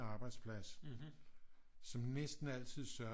Arbejdsplads som næsten altid sørgede